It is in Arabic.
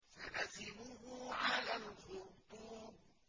سَنَسِمُهُ عَلَى الْخُرْطُومِ